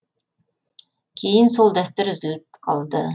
кейін сол дәстүр үзіліп қалды